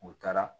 U taara